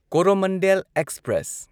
Coromandel express